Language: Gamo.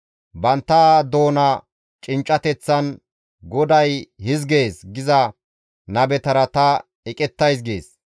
Bantta doona cinccateththan, ‹GODAY hizgees› giza nabetara ta eqettays» gees.